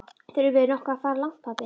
Þurfum við nokkuð að fara langt, pabbi?